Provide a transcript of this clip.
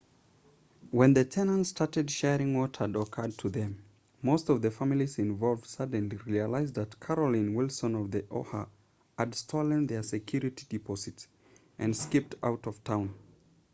when the tenants started sharing what had occurred to them most of the families involved suddenly realized that carolyn wilson of the oha had stolen their security deposits and skipped out of town